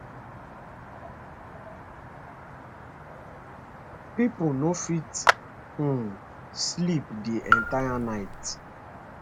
pipo no fit um sleep di entire night